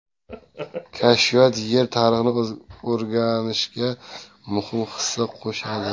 Kashfiyot Yer tarixini o‘rganishga muhim hissa qo‘shadi.